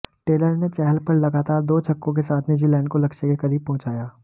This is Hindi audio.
टेलर ने चहल पर लगातार दो छक्कों के साथ न्यूजीलैंड को लक्ष्य के करीब पहुंचाया